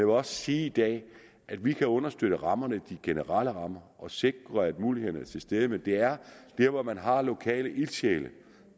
også sige i dag at vi kan understøtte rammerne de generelle rammer og sikre at mulighederne er til stede men det er der hvor man har lokale ildsjæle